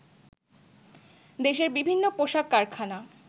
দেশের বিভিন্ন পোশাক কারখানা